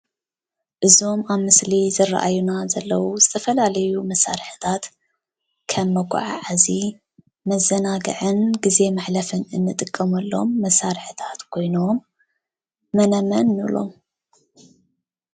እዞም ኣብ ምስሊ ዝርኣዩና ዘለው ዝተፈላለዩ መሳርሕታት ከም መጎዓዓዚ መዘናግዕን ግዜ ምሕለፍን እንጥቀመሎም መሳርሕታት ኮይኖም መነ መን ንብሎም?